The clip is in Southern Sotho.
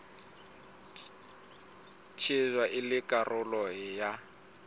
shejwa e le karolo ya